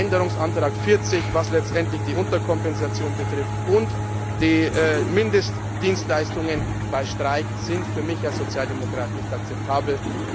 Änderungsantrag40, der letztendlich die Unterkompensation betrifft und die Mindestdienstleistungen bei Streik, ist für mich als Sozialdemokrat nicht akzeptabel.